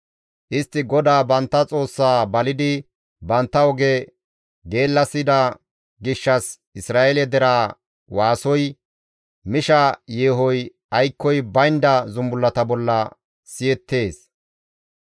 Istti GODAA bantta Xoossaa balidi bantta oge geellasida gishshas Isra7eele deraa waasoy, misha yeehoy aykkoy baynda zumbullata bolla siyettees;